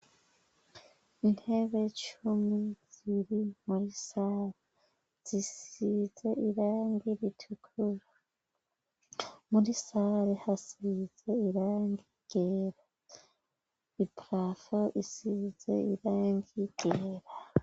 Intebe cumi ziri muri sare zisize irangi ritukura. Muri sare hasise irangi ryera. Iprafo isisize irangi ryera.